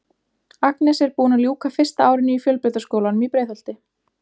Agnes er búin að ljúka fyrsta árinu í Fjölbrautaskólanum í Breiðholti.